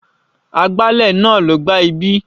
Agbálẹ̀ náà ló gbá ibí.